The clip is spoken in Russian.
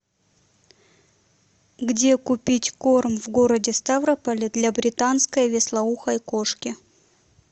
где купить корм в городе ставрополе для британской вислоухой кошки